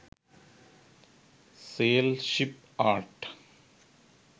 sail ship art